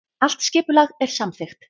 Allt skipulag er samþykkt